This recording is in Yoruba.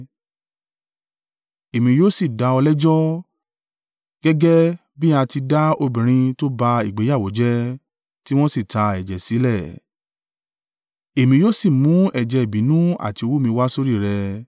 Èmi yóò sì dá ọ lẹ́jọ́, gẹ́gẹ́ bí a ti dá obìnrin tó ba ìgbéyàwó jẹ́, tí wọn sì ta ẹ̀jẹ̀ sílẹ̀; Èmi yóò sì mú ẹ̀jẹ̀ ìbínú àti owú mi wá sórí rẹ.